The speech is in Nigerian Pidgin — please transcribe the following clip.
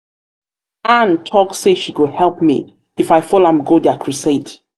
ann talk say she go help um me if i follow am go dia crusade